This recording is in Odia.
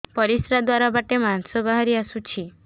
ପରିଶ୍ରା ଦ୍ୱାର ବାଟେ ମାଂସ ବାହାରି ଆସୁଛି